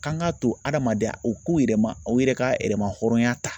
Kan ka to hadamadenya o k'u yɛrɛ ma aw yɛrɛ ka yɛrɛmahɔrɔnya ta